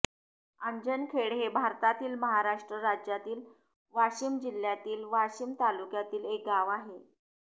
आंजणखेड हे भारतातील महाराष्ट्र राज्यातील वाशिम जिल्ह्यातील वाशीम तालुक्यातील एक गाव आहे